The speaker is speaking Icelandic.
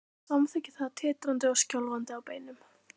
Hann samþykkir það, titrandi og skjálfandi á beinunum.